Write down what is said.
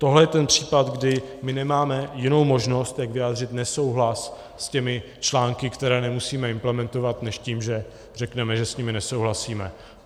Tohle je ten případ, kdy my nemáme jinou možnost, jak vyjádřit nesouhlas s těmi články, které nemusíme implementovat, než tím, že řekneme, že s nimi nesouhlasíme.